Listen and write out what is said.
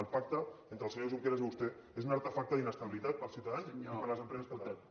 el pacte entre el senyor junqueras i vostè és un artefacte d’inestabilitat per als ciutadans i per a les empreses catalanes